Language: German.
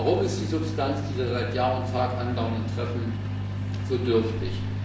Warum ist die Substanz dieser seit Jahr und Tag andauernden Treffen so dürftig?